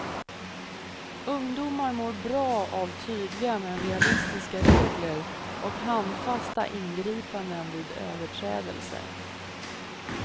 Ungdomar mår bra av tydliga men realistiska regler och handfasta ingripanden vid överträdelser.